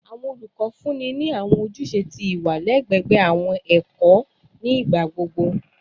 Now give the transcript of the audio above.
Awọn olukọ funni ni awọn ojuse ti iwa lẹgbẹẹ awọn ẹkọ ẹkọ nigbagbogbo.